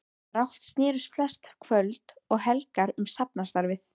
Brátt snerust flest kvöld og helgar um safnaðarstarfið.